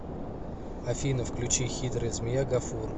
афина включи хитрая змея гафур